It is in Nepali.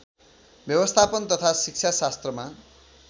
व्यवस्थापन तथा शिक्षाशास्त्रमा